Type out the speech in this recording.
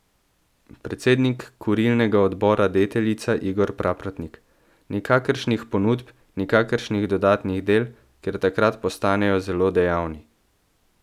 Predsednik kurilnega odbora Deteljica Igor Praprotnik: 'Nikakršnih ponudb, nikakršnih dodatnih del, ker takrat postanejo zelo dejavni.